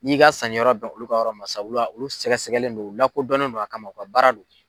N'i ka sanni yɔrɔ bɛn olu ka yɔrɔ ma sisan olu olu sɛgɛsɛgɛlen do u lakodɔnnen do a kama u ka baara do.